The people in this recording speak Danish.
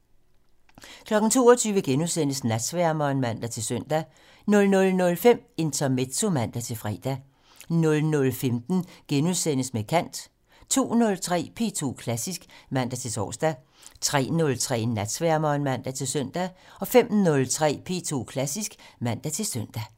22:00: Natsværmeren *(man-søn) 00:05: Intermezzo (man-fre) 00:15: Med kant * 02:03: P2 Klassisk (man-tor) 03:03: Natsværmeren (man-søn) 05:03: P2 Klassisk (man-søn)